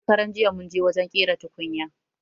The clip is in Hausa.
Shakaranjiya munje wajen ƙera tukunya